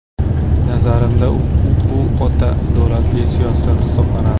Nazarimizda, bu o‘ta adolatli siyosat hisoblanadi.